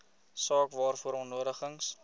saak waaroor uitnodigings